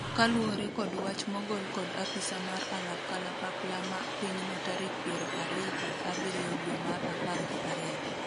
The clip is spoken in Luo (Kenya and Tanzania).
kaluwore kod wach mogol kod apisa mar alap kalapapla ma pinyno tarik piero ariyo kod abiriyo dwe mar apar gi ariyo